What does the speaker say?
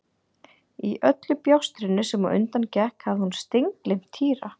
Í öllu bjástrinu sem á undan gekk hafði hún steingleymt Týra.